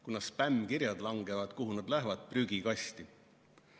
Kuna spämmkirjad langevad, kuhu nad lähevad – prügikasti.